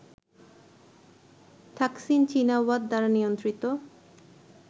Thaksin Shinawatra দ্বারা নিয়ন্ত্রিত